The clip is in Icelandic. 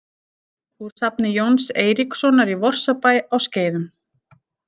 Úr safni Jóns Eiríkssonar í Vorsabæ á Skeiðum.